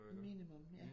Minimum ja